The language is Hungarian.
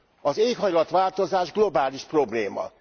Az éghajlatváltozás globális probléma.